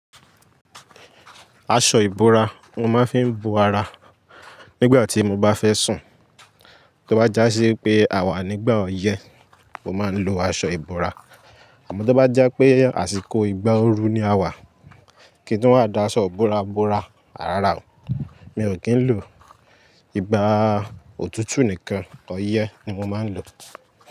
Aṣọ ìbora mo máa ń fi bo ara nígbà tí mo bá fẹ́ sùn. Tó bá já sí pé a wà nígbà ọyẹ́ mo máa ń lo aṣọ ìbora. Àmọ́ tó bá jẹ́ pé àsìkò ìgbà ooru ni a wà, kí n tun wá da aṣọ bora bora a rárá o, mi ò kín ló, ìgbà òtútù nìkan ọyẹ́ ni mo máa ń lò.